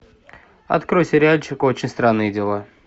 открой сериальчик очень странные дела